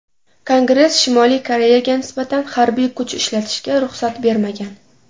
Kongress Shimoliy Koreyaga nisbatan harbiy kuch ishlatishga ruxsat bermagan.